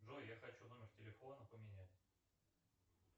джой я хочу номер телефона поменять